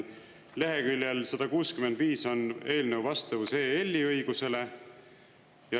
Leheküljel 165 on eelnõu vastavus EL-i õigusele.